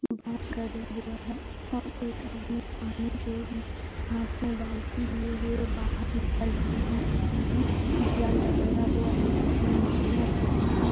बांस गाड़े हुए है और एक आदमी पानी से हाथ में बाल्टी लिए हुए बाहर निकल रहे हैं उसने जाल लगाया हुआ है जिसमें मछलियां फसेंगी।